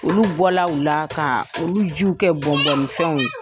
Olu bɔla o la, ka olu jiw kɛ bɔn bɔnni fɛnw ye.